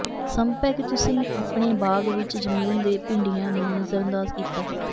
ਸੰਭਵ ਹੈ ਕਿ ਤੁਸੀਂ ਆਪਣੇ ਬਾਗ ਵਿੱਚ ਜ਼ਮੀਨ ਦੇ ਭਿੰਡੀਆਂ ਨੂੰ ਨਜ਼ਰਅੰਦਾਜ਼ ਕੀਤਾ ਹੈ